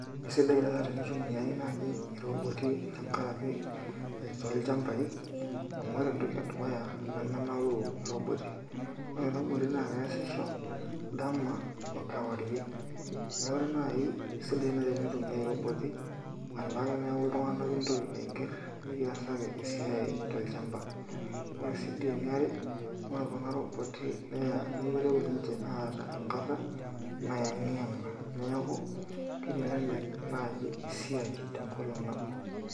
Kesidai nai tenitumiainaji iroboti tenkaraki tolchambai amu ore entoki edukuya nemenaure robot ore roboti na keasisho dama okewarie neaku nai kisidai nai tenktumiai roboti alang teneaku ltunganak intoki alak pekiasaki esiai tolchamba, ore si eniare ore kuna roboti na nimitoki ninche aata enkata nayengianga neaku kitelelek naji esiai tenkolong nabo .